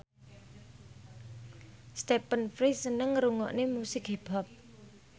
Stephen Fry seneng ngrungokne musik hip hop